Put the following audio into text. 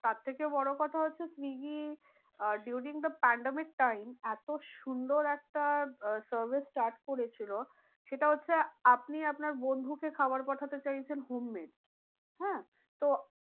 তার থেকেও বড়ো কথা হচ্ছে Swiggy ah during the pandemic time এতো সুন্দর একটা আহ service start করেছিল সেটা হচ্ছে। আপনি আপনার বন্ধুকে খাবার পাঠাতে চাইছেন homemade হ্যাঁ তো